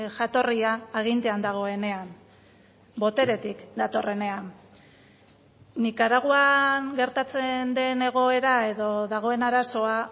jatorria agintean dagoenean boteretik datorrenean nikaraguan gertatzen den egoera edo dagoen arazoa